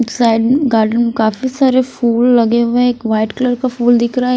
Side garden में काफी सारे फूल लगे हुए हैं एक वाइट कलर का फूल दिख रहा है।